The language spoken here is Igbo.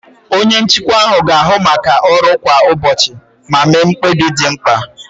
Onye njikwa ahụ ga-ahụ maka ọrụ kwa ụbọchị ma mee mkpebi ndị dị mkpa.